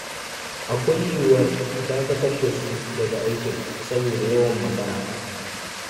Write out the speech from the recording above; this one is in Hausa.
Akwai yiwuwar a dakatar da su daga aikin saboda yawan makara.